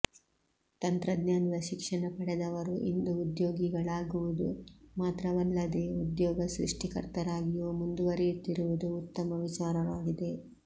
ತಂತ್ರಜ್ಞಾನದ ಶಿಕ್ಷಣ ಪಡೆದವರು ಇಂದು ಉದ್ಯೋಗಿಗಳಾಗುವುದು ಮಾತ್ರವಲ್ಲದೇ ಉದ್ಯೋಗ ಸೃಷ್ಟಿಕರ್ತರಾಗಿಯೂ ಮುಂದುವರೆಯುತ್ತಿರುವುದು ಉತ್ತಮ ವಿಚಾರವಾಗಿದೆ